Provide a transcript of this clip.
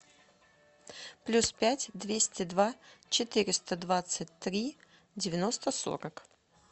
плюс пять двести два четыреста двадцать три девяносто сорок